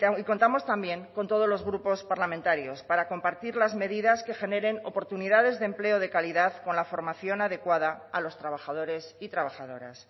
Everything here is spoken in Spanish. y contamos también con todos los grupos parlamentarios para compartir las medidas que generen oportunidades de empleo de calidad con la formación adecuada a los trabajadores y trabajadoras